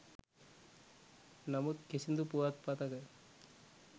නමුත් කිසිදු පුවත්පතක